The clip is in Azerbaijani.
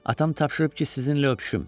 Atam tapşırıb ki, sizinlə öpüşüm.